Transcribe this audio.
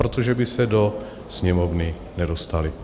Protože by se do Sněmovny nedostaly.